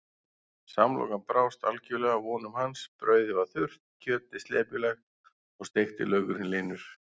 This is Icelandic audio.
Samlokan brást algjörlega vonum hans, brauðið var þurrt, kjötið slepjulegt og steikti laukurinn linur.